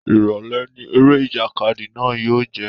Ìrọ̀lẹ́ ni eré ìjàkadì náà yóò jẹ́